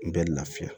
N bɛ lafiya